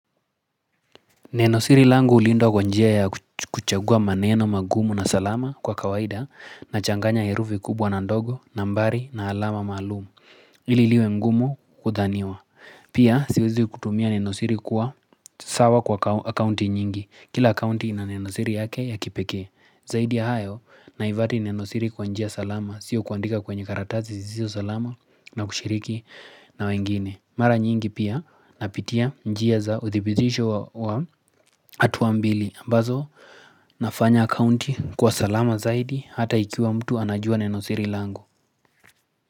Nenosiri langu ulindwa kwa njia ya kuchagua maneno magumu na salama kwa kawaida na changanya herufi kubwa na ndogo na mbari na alama maalumu. Ililiwe ngumu kudhaniwa. Pia siwezi kutumia nenosiri kuwa sawa kwa akounti nyingi. Kila akaunti ina nenosiri yake ya kipekee. Zaidi ya hayo na ivati nenosiri kwa njia salama sio kuandika kwenye karatazi zizio salama na kushiriki na wengine. Mara nyingi pia napitia njia za uthibitisho wa hatua mbili aMbazo nafanya account kuwa salama zaidi Hata ikiwa mtu anajua neno siri langu.